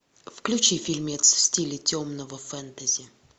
включи фильмец в стиле темного фэнтези